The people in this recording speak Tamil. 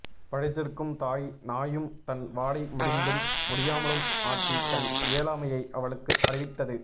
படுத்திருக்கும் தாய் நாயும் தன் வாலை முடிந்தும் முடியாமலும் ஆட்டி தன் இயலாமையை அவளுக்கு அறிவித்தது